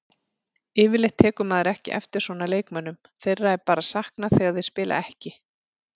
Yfirleitt tekur maður ekki eftir svona leikmönnum, þeirra er bara saknað þegar þeir spila ekki.